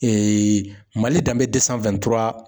MALI danbe